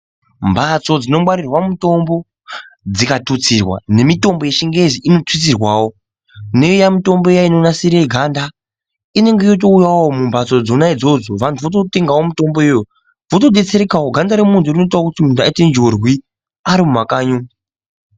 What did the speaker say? Mhatso dzino ngwarirwa mutombo dzingatutsirwa ngemutombo yechingezi inotutsirwawo, neiya mitombo inonasira ganda, inenge yotouyawo mumhatso dzona idzodzo wanhu wototengawo mutombo iyoyo wotobetserekawo ganda remundu rinoita kuti aite dyurwi arimumakanyi umwu.